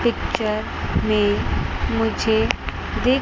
picture में मुझे दिख--